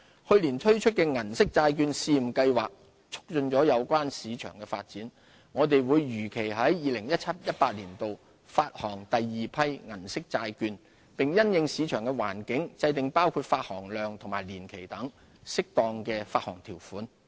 去年推出的銀色債券試驗計劃促進了有關市場的發展，我們會如期在 2017-2018 年度發行第二批銀色債券，並因應市場環境，制訂包括發行量及年期等適當的發行條款。